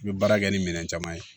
I bɛ baara kɛ ni minɛn caman ye